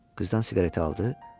Qızdan siqareti aldı.